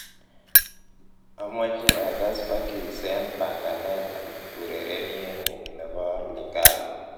amoche agas verckys en panganet anb ureryenyun nebo lingala